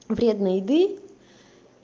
вредной еды